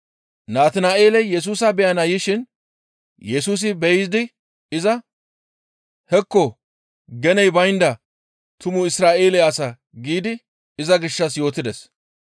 Natina7eeley Yesusa beyana yishin Yesusi be7idi iza, «Hekko! Geney baynda tumu Isra7eele asa!» giidi iza gishshas yootides.